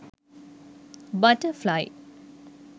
butterfly